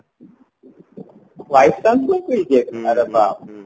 vice chancellorଙ୍କୁ ଦିଆଯାଇଥିଲା ଆରେ ବାପରେ